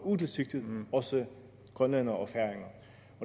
utilsigtet også grønlændere og færinger